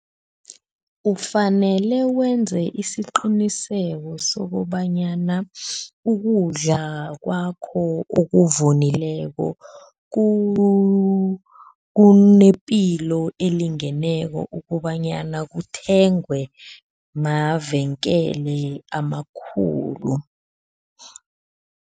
Ufanele wenze isiqiniseko sokobanyana ukudla kwakho okuvunileko kunepilo elingeneko ukobanyana kuthengwe mavenkele amakhulu.